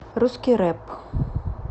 русский рэп